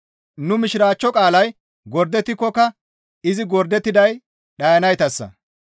Nu Mishiraachcho qaalay gordettikokka izi gordettiday dhayanaytassa.